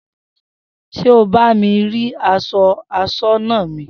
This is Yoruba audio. S̩e o bá mi rí as̩o̩ as̩ó̩nà mi?